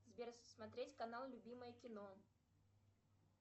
сбер смотреть канал любимое кино